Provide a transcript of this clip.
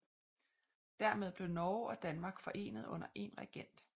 Dermed blev Norge og Danmark forenet under en regent